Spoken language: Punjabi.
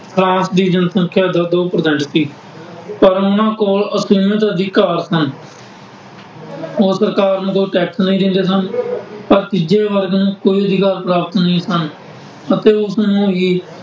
ਫਰਾਂਸ ਦੀ ਜਨਸੰਖਿਆਂ ਦਾ ਦੋ percent ਸੀ। ਪਰ ਉਹਨਾ ਕੋਲ ਅਸੀਮਤ ਅਧਿਕਾਰ ਸਨ। ਉਹ ਸਰਕਾਰ ਨੂੰ ਕੋਈ ਟੈਕਸ ਨਹੀਂ ਦਿੰਦੇ ਸਨ। ਪਰ ਤੀਜੇ ਵਰਗ ਨੂੰ ਕੋਈ ਰੁਜ਼ਗਾਰ ਪ੍ਰਾਪਤ ਨਹੀਂ ਸਨ ਅਤੇ ਉਸਨੂੰ ਹੀ